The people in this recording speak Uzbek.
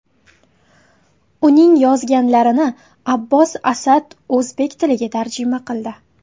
Uning yozganlarini Abbos Asad o‘zbek tiliga tarjima qildi .